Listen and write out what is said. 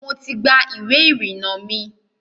Mo ti gba iwé ìrìnà mi.